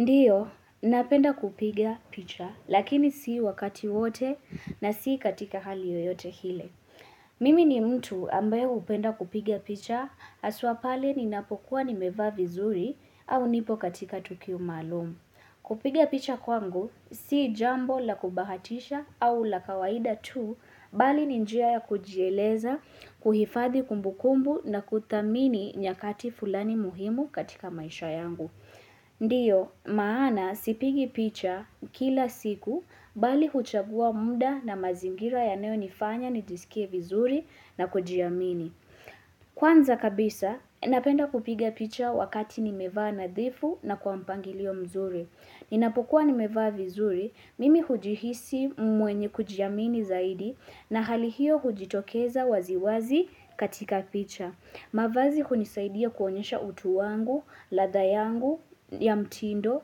Ndiyo, napenda kupigia picha, lakini sii wakati wote na sii katika hali yoyote hile. Mimi ni mtu ambayo hupenda kupigia picha, asua pale ninapokuwa nimeva vizuri au nipo katika tukio malumu. Kupiga picha kwangu, sii jambo la kubahatisha au la kawaida tu, bali ni njia ya kujieleza, kuhifadhi kumbukumbu na kuthamini nyakati fulani muhimu katika maisha yangu. Ndiyo maana sipigi picha kila siku bali huchagua muda na mazingira yanayo nifanya nijisikie vizuri na kujiamini. Kwanza kabisa napenda kupiga picha wakati nimevaa nadhifu na kuampangilio mzuri. Ninapokuwa nimevaa vizuri mimi hujihisi mwenye kujiamini zaidi na halihio hujitokeza waziwazi katika picha. Mavazi hunisaidia kuonyesha utu wangu, lada yangu, ya mtindo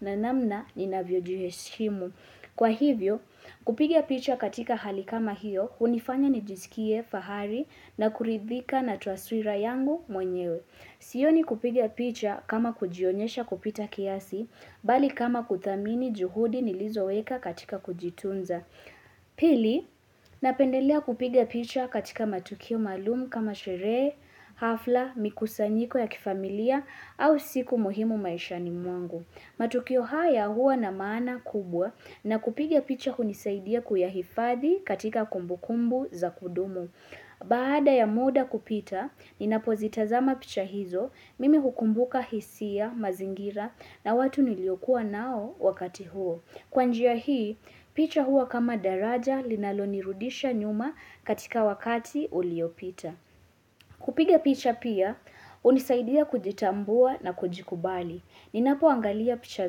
na namna ninavyojuheshimu. Kwa hivyo, kupigia picha katika hali kama hiyo, kunifanya nijisikie fahari na kuridhika na tuaswira yangu mwenyewe. Sioni kupigia picha kama kujionyesha kupita kiasi, bali kama kuthamini juhudi nilizoweka katika kujitunza. Pili, napendelea kupiga picha katika matukio malumu kama shere, hafla, mikusanyiko ya kifamilia au siku muhimu maishani mwangu matukio haya hua na maana kubwa na kupiga picha kunisaidia kuyahifadhi katika kumbu kumbu za kudumu Baada ya muda kupita, ninapozitazama picha hizo, mimi hukumbuka hisia, mazingira na watu niliokua nao wakati huo Kwanjia hii, picha hua kama daraja linalonirudisha nyuma katika wakati uliopita. Kupiga picha pia, unisaidia kujitambua na kujikubali. Ninapoangalia picha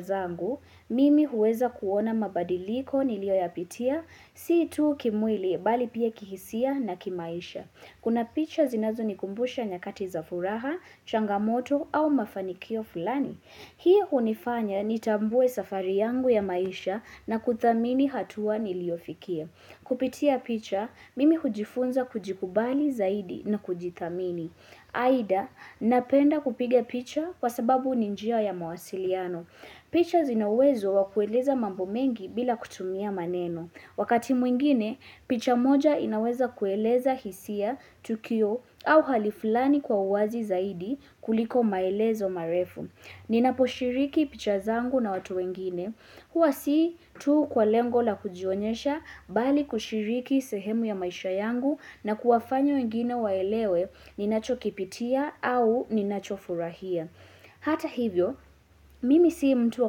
zangu, mimi huweza kuona mabadiliko nilioyapitia, siitu kimwili, bali pia kihisia na kimaisha. Kuna picha zinazonikumbusha nyakati za furaha, changamoto au mafanikio fulani. Hii unifanya nitambue safari yangu ya maisha na kuthamini hatua niliofikia. Kupitia picha, mimi kujifunza kujikubali zaidi na kujithamini. Aida, napenda kupiga picha kwa sababu ni njia ya mawasiliano. Pichas zina uwezo wa kueleza mambo mengi bila kutumia maneno. Wakati mwingine, picha moja inaweza kueleza hisia, tukio au hali fulani kwa uwazi zaidi kuliko maelezo marefu. Ninaposhiriki picha zangu na watu wengine. Huwa si tu kwa lengo la kujionyesha bali kushiriki sehemu ya maisha yangu na kuwafanya wengine waelewe ni nachokipitia au ni nacho furahia. Hata hivyo, mimi si mtu wa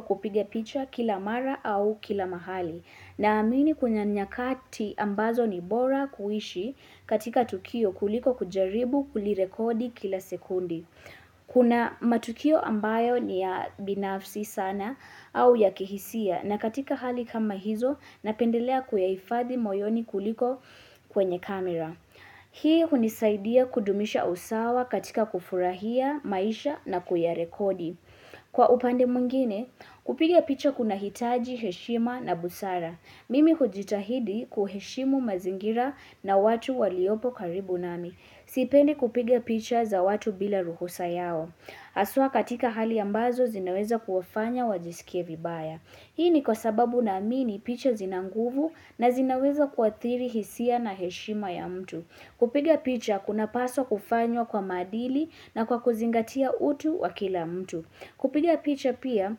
kupiga picha kila mara au kila mahali na amini kunya nyakati ambazo ni bora kuishi katika tukio kuliko kujaribu kulirekodi kila sekundi. Kuna matukio ambayo ni ya binafsi sana au ya kihisia na katika hali kama hizo napendelea kuyayifadhi moyoni kuliko kwenye kamera. Hii hunisaidia kudumisha usawa katika kufurahia maisha na kuyarekodi. Kwa upande mungine kupiga picha kuna hitaji heshima na busara. Mimi kujitahidi kuheshimu mazingira na watu waliopo karibu nami. Sipendi kupiga picha za watu bila ruhusa yao. Asua katika hali ambazo zinaweza kuwafanya wajisikie vibaya. Hii ni kwa sababu naamini picha zina nguvu na zinaweza kuatiri hisia na heshima ya mtu. Kupiga picha kunapaswa kufanywa kwa madili na kwa kuzingatia utu wa kila mtu. Kupiga picha pia,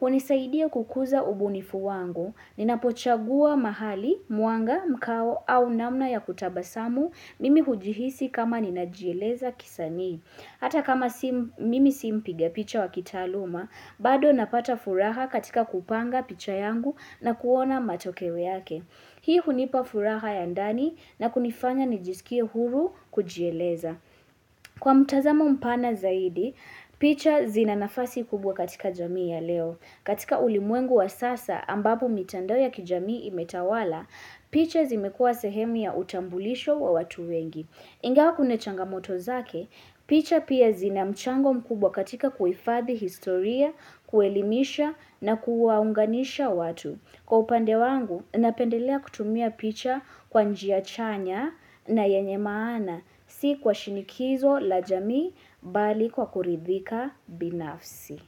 hunisaidia kukuza ubunifu wangu, ninapochagua mahali, muanga, mkao au namna ya kutabasamu, mimi hujihisi kama ninajieleza kisani. Hata kama mimi si mpiga picha wa kitaaluma, bado napata furaha katika kupanga picha yangu na kuona matokewe yake. Hii hunipa furaha ya ndani na kunifanya nijisikie huru kujieleza. Kwa mtazamo mpana zaidi, picha zina nafasi kubwa katika jamii ya leo. Katika ulimwengu wa sasa ambapo mitando ya kijamii imetawala, picha zimekua sehemu ya utambulisho wa watu wengi. Ingewa kune changamoto zake, picha pia zina mchango mkubwa katika kuifadhi historia, kuelimisha na kuwaunganisha watu. Kwa upande wangu, napendelea kutumia picha kwa njia chanya na yenye maana, si kwa shinikizo la jamii bali kwa kuridhika binafsi.